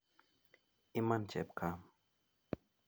Iman chepkam